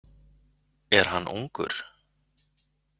Er hann ungur?